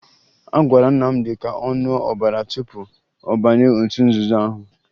A gwara Nnamdị ka ọ ṅụọ ọbara tupu ọ banye otu nzuzo ahụ